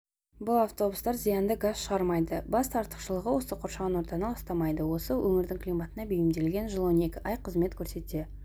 бұл автобустар зиянды газ шығармайды басты артықшылығы осы қоршаған ортаны ластамайды осы өңірдің климатына бейімделген жыл он екі ай қызмет көрсете